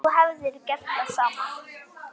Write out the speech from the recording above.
Þú hefðir gert það sama.